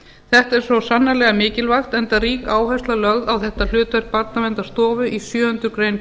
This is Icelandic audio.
þetta er svo sannarlega mikilvægt enda rík áhersla lögð á þetta hlutverk barnaverndarstofu í sjöundu grein